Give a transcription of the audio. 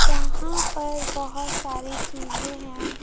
यहां पर बहोत सारी चीजें हैं।